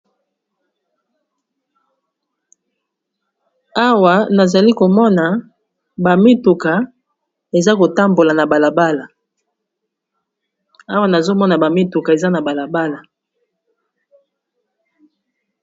Awa nazali komona ba mituka ezali kotambola na balabala, Awa nazomona ba mituka eza na balabala.